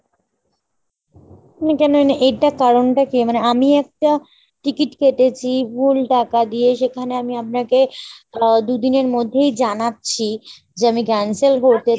এটার কারণটা কী ? মানে আমি একটা ticket কেটেছি ভুল টাকা দিয়ে সেখানে আমি আপনাকে আহ দু'দিনের মধ্যেই জানাচ্ছি, যে আমি cancel করতে